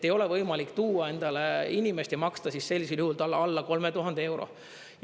Ei ole võimalik tuua endale inimeste ja maksta talle sellisel juhul alla 3000 euro.